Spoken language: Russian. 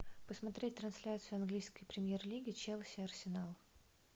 посмотреть трансляцию английской премьер лиги челси арсенал